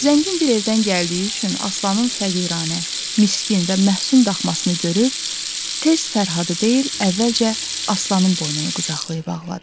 Zəngin bir evdən gəldiyi üçün Aslanın fəqiranə, miskin və məhsun daxmasını görüb, tez Fərhadı deyil, əvvəlcə Aslanın boynunu qucaqlayıb ağladı.